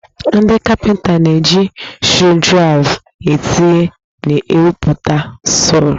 Ndị kapịnta na-eji skrudraịva etinye na ewepụta skru